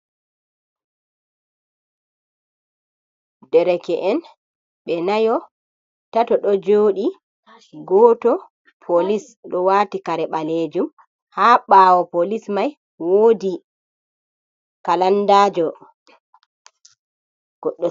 Ɗereke’en ɓe nayo tato ɗo jodi goto polis do wati kare balejum ha ɓawo polis mai wodi kalandajo.